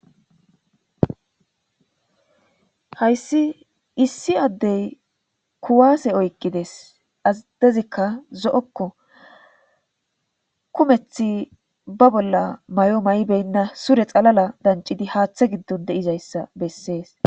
Hayssi issi addey kuwase oyqides addezikka zo'okko kumeththi be bolla may'o may'i beyinna sure xalala danccidii haaththe giddon de'izayssa beesses.